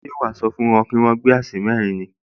Ṣé wàá sọ fún wọn pé kí wọ́n gbé aṣẹ́ mẹ́rin